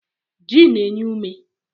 Ji na-enye ume.